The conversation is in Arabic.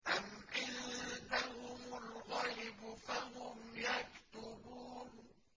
أَمْ عِندَهُمُ الْغَيْبُ فَهُمْ يَكْتُبُونَ